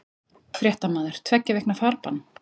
Fréttamaður: Tveggja vikna farbann?